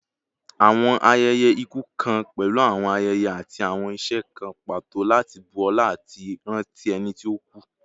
Awọn ayẹyẹ iku kan pẹlu awọn ayẹyẹ ati awọn iṣe kan pato lati bu ọla ati ranti ẹni ti o ku